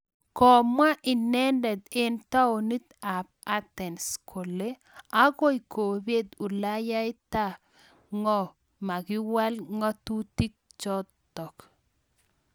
Komwaa inendet eng taonit ab Athens kole akoi kopet ulayaita ngo makiwal ngatutik chotok .